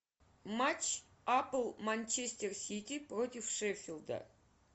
матч апл манчестер сити против шеффилда